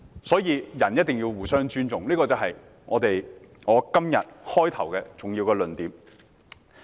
所以，人一定要互相尊重，這是我今天發言開首的一個重要的論點。